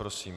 Prosím.